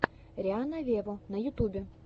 рианна вево на ютубе